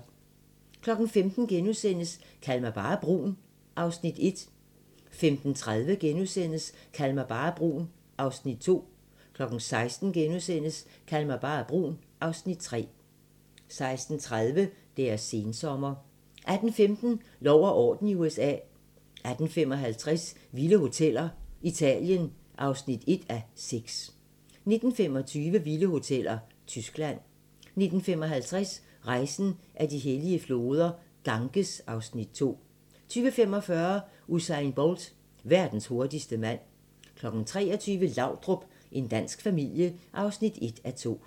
15:00: Kald mig bare brun (Afs. 1)* 15:30: Kald mig bare brun (Afs. 2)* 16:00: Kald mig bare brun (Afs. 3)* 16:30: Deres sensommer 18:15: Lov og orden i USA 18:55: Vilde hoteller - Italien (1:6) 19:25: Vilde hoteller - Tyskland 19:55: Rejsen ad de hellige floder - Ganges (Afs. 2) 20:45: Usain Bolt - verdens hurtigste mand 23:00: Laudrup – en dansk familie (1:2)